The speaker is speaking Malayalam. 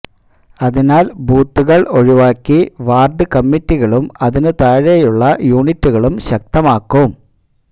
അതിനാൽ ബൂത്തുകൾ ഒഴിവാക്കി വാർഡ് കമ്മിറ്റികളും അതിനു താഴെയുള്ള യൂണിറ്റുകളും ശക്തമാക്കും